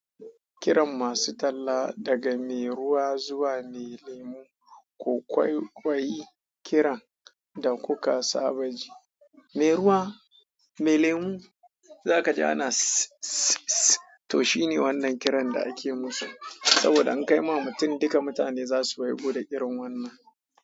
Kiran masu talla daga mai ruwa zuwa mai lemu, ku kwaikwai kiran da kuka saba ji. Mai ruwa, mai lemu za ka ji ana sss sss sss. To shine wannan kiran da ake musu saboda an kai ma mutum, duka mutane za su waigo da irin wannan.